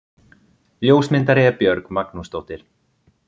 Ljósmyndari er Björg Magnúsdóttir.